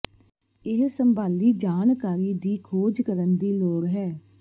ਇਹ ਸੰਭਾਲੀ ਜਾਣਕਾਰੀ ਦੀ ਖੋਜ ਕਰਨ ਦੀ ਲੋੜ ਹੈ